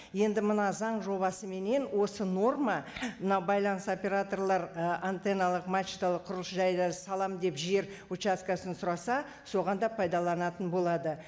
енді мына заң жобасыменен осы норма мына байланыс операторлар і антенналық мачталық құрылыс жайларын саламын деп жер участкісін сұраса соған да пайдаланатын болады